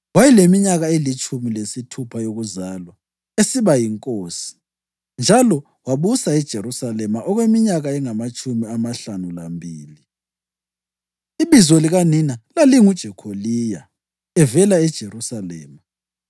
Wayeleminyaka elitshumi lesithupha yokuzalwa esiba yinkosi, njalo wabusa eJerusalema okweminyaka engamatshumi amahlanu lambili. Ibizo likanina lalinguJekholiya; evela eJerusalema.